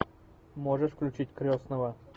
можешь включить крестного